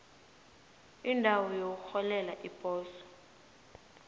indawo yokurholela iposo